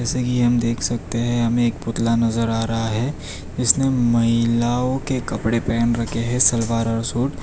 जैसे क़ि हम देख सकते हैं हमें एक पुतला नजर आ रहा है जिसने महिलाओं के कपड़े पहन रखे हैं सलवार और सूट।